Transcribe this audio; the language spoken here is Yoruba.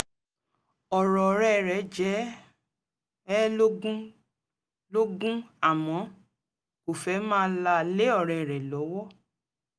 ọ̀rọ̀ ọ̀rẹ́ rẹ̀ jẹ ẹ́ lógún lógún àmọ́ kò fẹ́ máa là lé ọ̀rẹ́ rẹ̀ lọ́wọ́